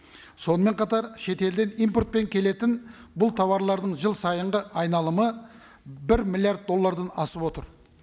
сонымен қатар шетелден импортпен келетін бұл тауарлардың жыл сайынғы айналымы бір миллиард доллардан асып отыр